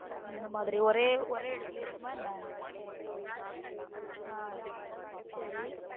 அந்த மாதிரி ஒரே எடத்துல இருக்குமா என்ன? ஆஹ் செரி